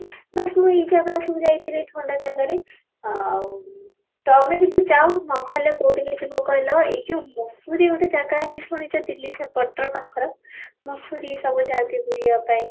ବାସ ସବୁ ଏଇ ଜାଗା ସବୁ ଯାଇଥିଲି ଥଣ୍ଡା ଜାଗାରେ ଆଉ ତୋମେ କିନ୍ତୁ ଯାଉ ନହେଲେ କୋଠିକି ଯିବ କହିଲ ଏଇ ଯଉ ମସୂରୀ ଗୋଟେ ଜାଗା ଅଛି ଶୁଣିଛ ଦିଲ୍ଲୀ ସେ ପଟର ପାଖର ମସୂରୀ ସବୁ ଯାଆନ୍ତି ବୁଲିବା ପାଇଁ